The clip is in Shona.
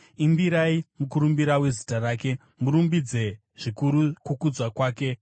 Imbirai mukurumbira wezita rake; murumbidze zvikuru kukudzwa kwake!